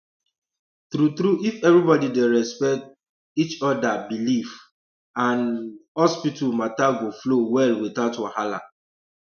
true true if everybody dey respect um each other belief um and um hospital matter go flow well without wahala